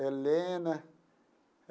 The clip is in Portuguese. Helena.